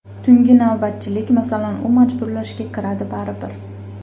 Tungi navbatchilik, masalan, u majburlashga kiradi baribir.